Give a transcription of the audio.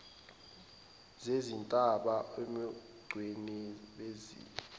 zezintaba ubungcweti bezezindlu